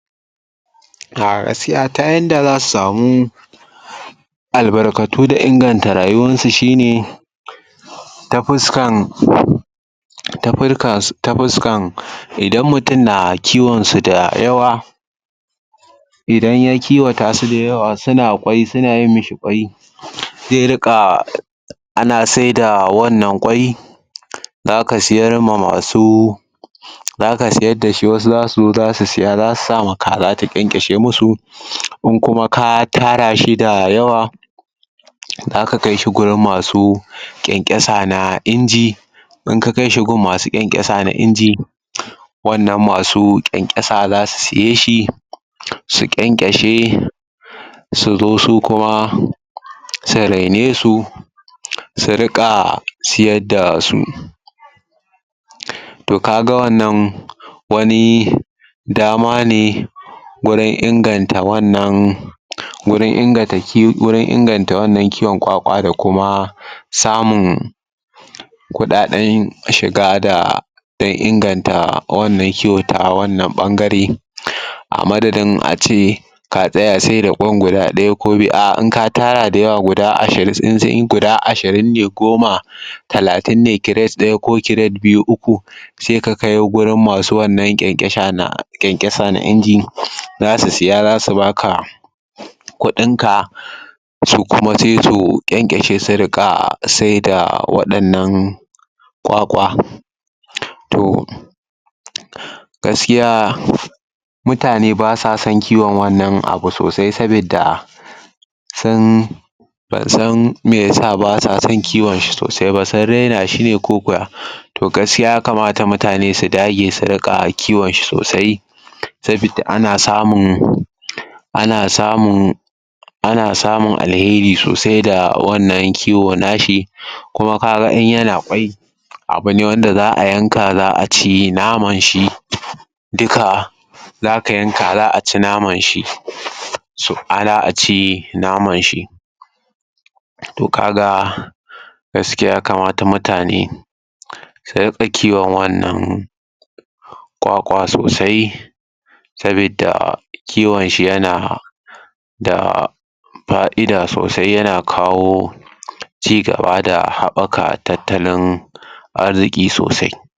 A gaskiya ta yanda za su samu albarkatu da inganta rayuwansu shi ne ta fusakan ta furkan idan mutum na kiwonsu da yawa idan ya kiwata su da yawa, suna yin ƙwai suna yi masa ƙwai zai riƙa ana saida wannan ƙwai za ka siyar ma masu za siyar da shi wasu za su zo za su siya za su sa ma kaza da ƙyanƙyashe musu, in kuma ka tara shi da yawa za ka kaisu wajen ma su ƙyanƙyasa na in ji, in ka kai su gun masu kyankaysa na inji wannan masu ƙyanƙyasa za su siye su ƙyanƙyashe su zu su kuma su renesu su riƙa siyar da su to ka ga wannan wani dama ne gurin inganta wannan gurin inganta inganta wannan kiwon ƙwaƙwa da kuma samun kuɗaɗen shiga da don inganta wannan kiwo ta wannan ɓangare a madadin a ce ka tsaya saida ƙwan guda ɗaya ko biyu a in katara da yawa guda ashirin ne ko goma talatin ne kires ɗaya ko kires biyu uku sai ka kai wajen masu wannan ƙyanƙyasa na inji za su siya za su ba ka kuvin ka su kuma sai su ƙyanƙyashe su riƙa sai da waɗannan ƙwaƙwata to gaskiya mutane ba sa son kiwomn wannan abu sosai sabidda sun ban san me ya sa ba sa son kiwon shi sosai ba sun raina shi ne ko ko ya to gaskiya ya kamata mutane su dage su rƙa kiwon shi sosai sabidda ana samun ana samun ana samun alheri saodsai da wannan kiwo na shi. ka ga kuma in yana ƙwai abu ne wanda za a yanka za a ci namanshi duka. za ka yanka za a ci naman shi za a ci naman shi to ka ga gaskiya ya kamata munane su riƙa kiwon wannan ƙwaƙwa sosai sabidda kiwon shi yana da fa'ida sosai yana kawo ci gaba da haɓaka tattalin arziƙi sosai.